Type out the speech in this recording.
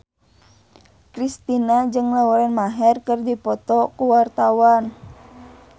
Kristina jeung Lauren Maher keur dipoto ku wartawan